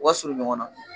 U ka surun ɲɔgɔn na